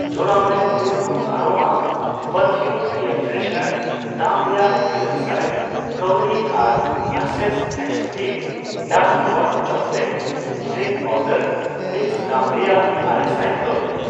ᱡᱚᱲᱟᱣ ᱢᱮ good home aroma perfume air freshener ᱫᱟᱢ ᱨᱮᱭᱟᱜᱤᱨᱟᱹᱞᱥᱟᱭ ᱠᱟᱹᱣᱰᱤ ᱟᱨ Hershey's exotic dark hot chocolate drink powder mix ᱫᱟᱢ ᱨᱮᱭᱟᱜ ᱟᱨᱮᱥᱟᱭ ᱠᱟᱹᱣᱰᱤ ᱾